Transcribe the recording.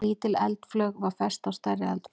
Lítil eldflaug var fest á stærri eldflaug.